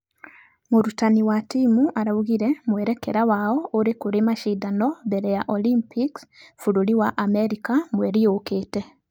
Mũrutani wa timũ araugire mwerekera wao ũrĩ kũrĩ mashidano mbere ya olympic bũrũri wa america mweri ũkĩte.